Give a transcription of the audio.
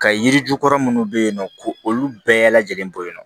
Ka yiri jukɔrɔ munnu be yen nɔ ko olu bɛɛ lajɛlen bɔ yen nɔ